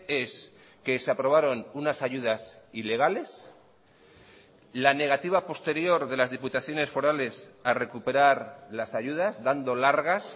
es que se aprobaron unas ayudas ilegales la negativa posterior de las diputaciones forales a recuperar las ayudas dando largas